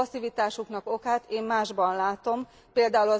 Passzivitásuknak okát én másban látom, pl.